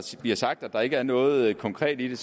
bliver sagt at der ikke er noget konkret i det